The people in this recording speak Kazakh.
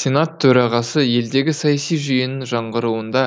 сенат төрағасы елдегі саяси жүйенің жаңғыруында